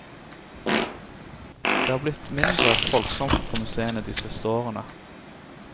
Det er blitt mindre folksomt på museene de siste årene.